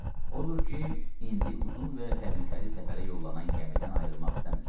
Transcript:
Odur ki, indi uzun və təhlükəli səfərə yollanan gəmidən ayrılmaq istəmirdi.